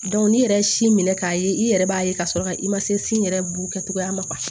n'i yɛrɛ ye si minɛ k'a ye i yɛrɛ b'a ye ka sɔrɔ ka i ma se sin yɛrɛ bu kɛcogoya ma